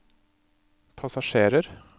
passasjerer